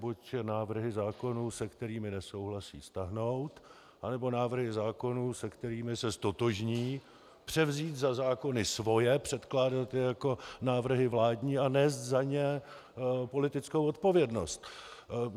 Buď návrhy zákonů, se kterými nesouhlasí, stáhnout, anebo návrhy zákonů, se kterými se ztotožní, převzít za zákony svoje, předkládat je jako návrhy vládní a nést za ně politickou odpovědnost.